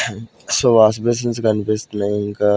So wash basins కనిపిస్తున్నాయి ఇంకా.